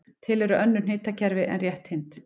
Til eru önnur hnitakerfi en rétthyrnd.